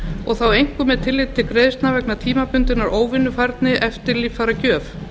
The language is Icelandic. og þá einkum með tilliti til greiðslna vegna tímabundinnar óvinnufærni eftir líffæragjöf